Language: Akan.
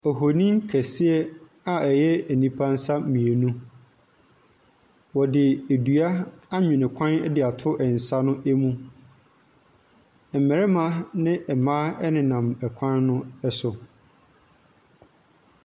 Ohonin kɛseɛ a ɛyɛ nipa nsa mmienu. Wɔde dua anwene kwan de ato nsa no mu. Mmarima ne mmaa nenan kwan no so.